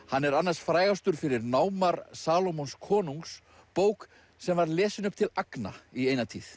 hann er annars frægastur fyrir námar Salómons konungs bók sem var lesin upp til agna í eina tíð